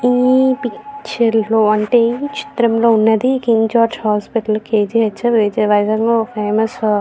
ఈ పిక్చర్ లో అంటే ఈ చిత్రం లో ఉన్నది. King George hospital K G H Vijayawada లో ఒక ఫేమస్ హాస్పిటల్ .